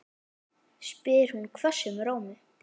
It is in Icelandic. spyr hún hvössum rómi.